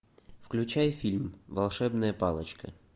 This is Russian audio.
включай фильм волшебная палочка